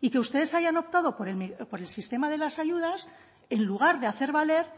y que ustedes hayan optado por el sistema de las ayudas en lugar de hacer valer